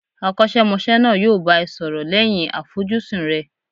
Akosemose náà yo bá ẹ sọrọ lẹ́yìn àfojúsùn rẹ